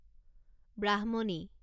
ব্ৰাহ্মণী